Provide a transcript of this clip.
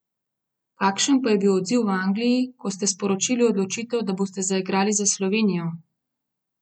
Kakšen pa je bil odziv v Angliji, ko ste sporočili odločitev, da boste zaigrali za Slovenijo?